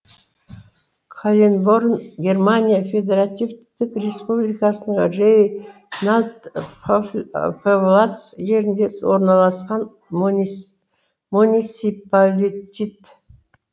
каленборн германия федеративтік республикасының рейнланд пфальц жерінде орналасқан муниципалитет